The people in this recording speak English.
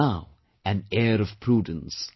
There is now an air of prudence